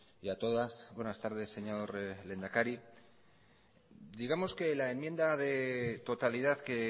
y a todas buenas tardes señor lehendakari digamos que la enmienda de totalidad que